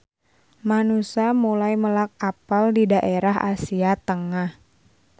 Manusa mulai melak apel di daerah Asia Tengah.